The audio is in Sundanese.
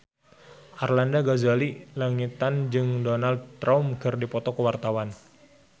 Arlanda Ghazali Langitan jeung Donald Trump keur dipoto ku wartawan